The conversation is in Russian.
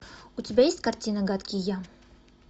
у тебя есть картина гадкий я